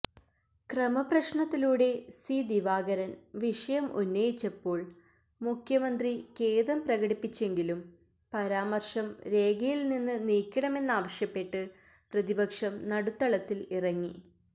ക്രമപ്രശ്നത്തിലൂടെ C Divakaran വിഷയം ഉന്നയിച്ചപ്പോള് മുഖ്യമന്ത്രി ഖേദം പ്രകടിപ്പിച്ചെങ്കിലും പരാമര്ശം രേഖയില് നിന്ന് നീക്കണമെന്നാവശ്യപ്പെട്ട് പ്രതിപക്ഷം നടുത്തളത്തില് ഇറങ്ങി